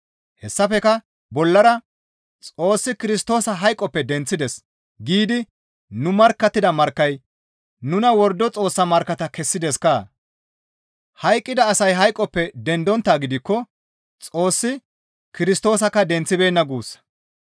Hessafekka bollara, «Xoossi Kirstoosa hayqoppe denththides» giidi nu markkattida markkayka nuna wordo Xoossa markkatta kessideskkaa? Hayqqida asay hayqoppe dendonttaa gidikko Xoossi Kirstoosakka denththibeenna guussa.